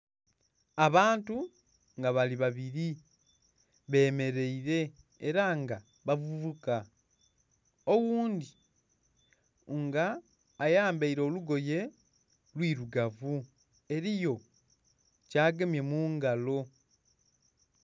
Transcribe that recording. abaantu nga bali babiri bemeraile era nga bavubuka oghundi nga ayambaile olugoye luirugavu eriyo kyagemye mu ngalo.